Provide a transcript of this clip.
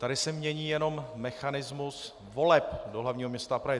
Tady se mění jenom mechanismus voleb do hlavního města Prahy.